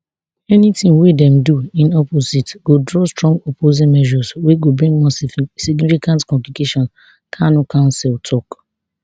anytin wey dem do in opposite go draw strong opposing measures wey go bring more significant complications kanu counsel tok